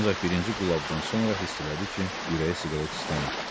Ancaq birinci qullabdan sonra hiss elədi ki, ürəyi siqaret istəmir.